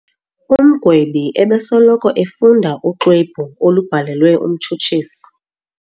Umgwebi ebesoloko efunda uxwebhu olubhalelwe umtshutshisi.